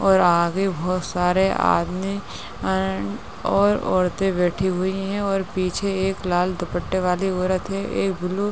और आगे बहोत सारे आदमी एंड और औरतें बैठी हुई हैं और पीछे एक लाल दुप्पटे वाली औरत है। ए भूलू --